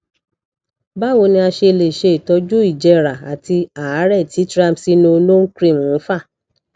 báwo ni a ṣe lè ṣe itọju ìjẹra àti àárè tí triamcinolone cream ń fà